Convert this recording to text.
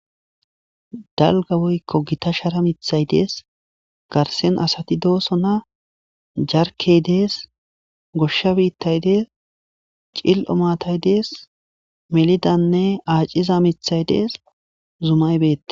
dalga woykko gita shara mithay dees garsen asati dooso na jarkey dees goshsha biittay dees cil7o matay dees melidanne aaciza mithay dees zumaybeeti